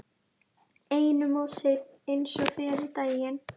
Einum of seinn eins og fyrri daginn!